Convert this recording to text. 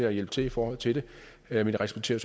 at hjælpe til i forhold til det men respekterer